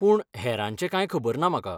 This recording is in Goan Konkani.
पूण, हेरांचें कांय खबर ना म्हाका.